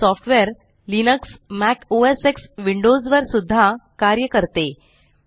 brisk software Linux Mac OS X Windows वर सुद्धा कार्य करते